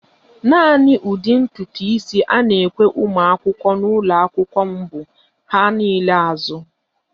Naani ụdị ntutu isi a na-ekwe ụmụakwụkwọ n'ụlọakwụkwọ m bụ "ha niile azụ